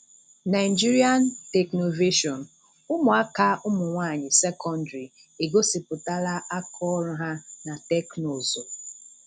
Nigerian Technovation: Ụmụaka ụmụnwaanyị sekọndrị̀ egosìputàlà àkàọrụ ha um na Teknụzụ.